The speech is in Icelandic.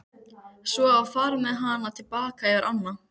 Svo var farið með hana til baka yfir ána.